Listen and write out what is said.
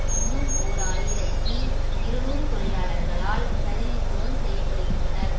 இன்னும் ஓர் ஆயிரத்தி இருநூறு தொழிலாளர்கள் ஆல் பிரதிநிதித்துவம் செய்ய படுகின்றனர்